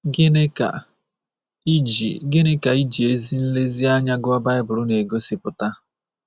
Gịnị ka ịji Gịnị ka ịji ezi nlezianya gụọ Baịbụl na-egosipụta?